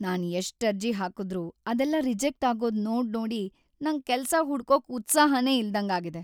ನಾನ್ ಎಷ್ಟ್ ಅರ್ಜಿ ಹಾಕುದ್ರೂ ಅದೆಲ್ಲ ರಿಜೆಕ್ಟ್ ಆಗೋದ್‌ ನೋಡ್ನೋಡಿ ನಂಗ್‌ ಕೆಲ್ಸ ಹುಡ್ಕೊಕ್ ಉತ್ಸಾಹನೇ ಇಲ್ದಂಗಾಗಿದೆ.